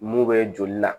Mun bɛ joli la